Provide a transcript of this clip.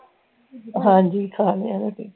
ਹਾਂਜੀ ਖਾ ਲਿਆ ਮੈਂ ਤੇ